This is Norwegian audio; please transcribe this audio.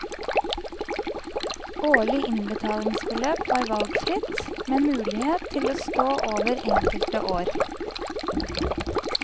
Årlig innbetalingsbeløp var valgfritt, med mulighet til å stå over enkelte år.